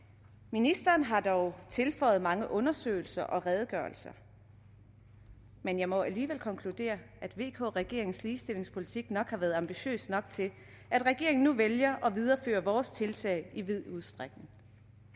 ministeren har dog tilføjet mange undersøgelser og redegørelser men jeg må alligevel konkludere at vk regeringens ligestillingspolitik nok har været ambitiøs nok til at regeringen nu vælger at videreføre vores tiltag i vid udstrækning